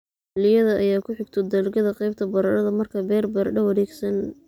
xilliyada ay ku xigto dalagyada qaybta baradhada. Markaa beer baradho wareegsan